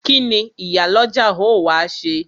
Kíni Ìyálọ́jà ó wá ṣe?